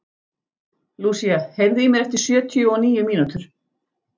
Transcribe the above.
Lúsía, heyrðu í mér eftir sjötíu og níu mínútur.